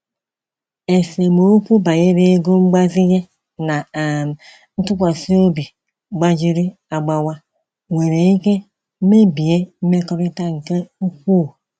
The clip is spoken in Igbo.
Esemokwu banyere ego mgbazinye na um ntụkwasị obi gbajiri agbawa nwere ike mebie mmekọrịta nke ukwuu.